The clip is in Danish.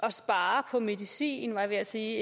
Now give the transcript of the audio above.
at spare på medicin var jeg ved at sige